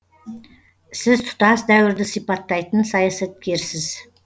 сіз тұтас дәуірді сипаттайтын саясаткерсіз